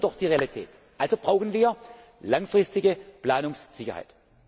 Ich zitiere doch die Realität. Also brauchen wir langfristige Planungssicherheit.